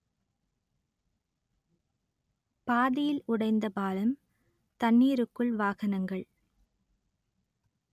பாதியில் உடைந்த பாலம் தண்ணீருக்குள் வாகனங்கள்